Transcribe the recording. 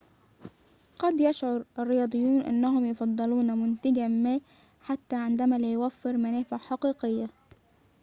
قد يشعر الرياضيون أنهم يفضلون منتجاً ما حتى عندما لا يوفر منافع حقيقية